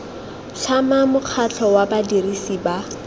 tlhama mokgatlho wa badirisi ba